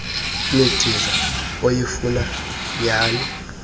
midiza oyifuna nyhani